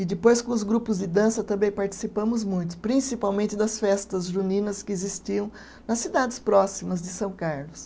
E depois com os grupos de dança também participamos muito, principalmente das festas juninas que existiam nas cidades próximas de São Carlos.